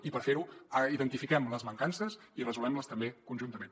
i per fer ho identifiquem les mancances i resolguem les també conjuntament